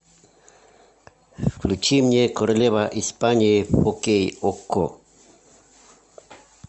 включи мне королева испании окей окко